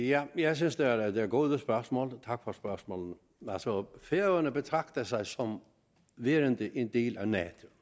jeg jeg synes at det er gode spørgsmål tak for spørgsmålene altså færøerne betragter sig som værende en del af nato